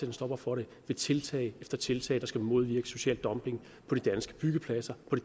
en stopper for det ved tiltag efter tiltag der skal modvirke social dumping på de danske byggepladser og